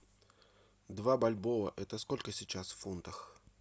два бальбоа это сколько сейчас в фунтах